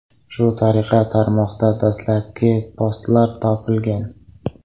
Shu tariqa tarmoqda dastlabki postlar topilgan.